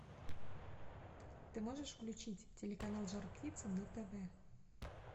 ты можешь включить телеканал жар птица на тв